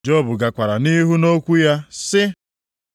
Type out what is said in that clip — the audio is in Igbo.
Job gakwara nʼihu nʼokwu ya sị: